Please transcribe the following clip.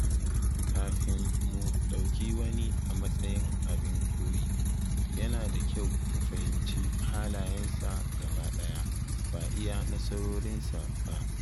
Kafin mu ɗauki wani a matsayin abin koyi, yana da kyau mu fahimci halayensa gaba ɗaya; ba iya nasarorinsa ba.